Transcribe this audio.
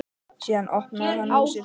Síðan opnaði hann húsið.